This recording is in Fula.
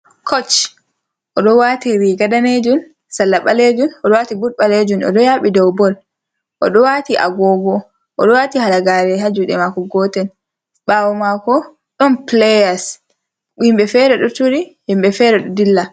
Koch, oɗo wati riga danejum salla ɓalejum, oɗo wati but ɓalejum, oɗo yaɓi dow bol, oɗo wati agogo, oɗo wati halagare ha juɗe mako gotel, ɓawo mako ɗon pileyas himɓe fere ɗo turi himɓe fere ɗo dilla.